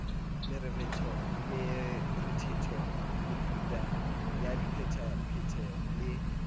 morethetho metuta ya diphetapheto le